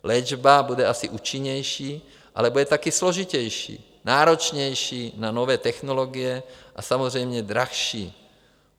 Léčba bude asi účinnější, ale bude taky složitější, náročnější na nové technologie a samozřejmě dražší.